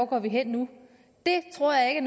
gå hen det tror jeg